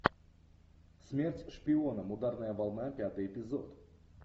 смерть шпионам ударная волна пятый эпизод